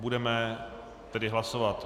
Budeme tedy hlasovat.